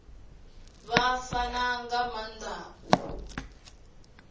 vha fana nga maanda u